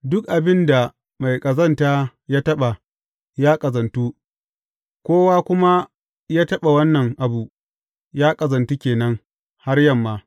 Duk abin da mai ƙazanta ya taɓa, ya ƙazantu, kowa kuma ya taɓa wannan abu, ya ƙazantu ke nan, har yamma.